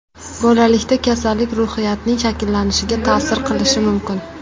Bolalikda kasallik ruhiyatning shakllanishiga ta’sir qilishi mumkin.